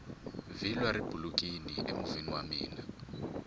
vhilwa ri bulukini emovheni wa mina